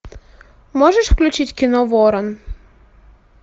можешь включить кино ворон